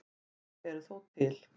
Þau eru þó til.